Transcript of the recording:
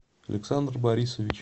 александр борисович